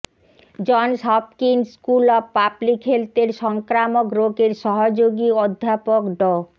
Johns Hopkins school of public হেলথের সংক্রামক রোগের সহযোগী অধ্যাপক ড